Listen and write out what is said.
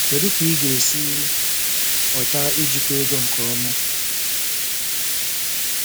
Kedu ka ị ga-esi mụta ijikwa ego nke ọma?